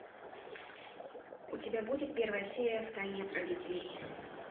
у тебя будет первая серия в тайне от родителей